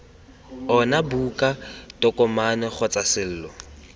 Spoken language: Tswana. ona buka tokomane kgotsa selo